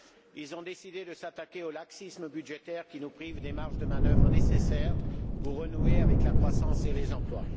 Ils ont décidé de s'attaquer au laxisme budgétaire qui nous prive des marges de manœuvre nécessaires pour renouer avec la croissance et l'emploi.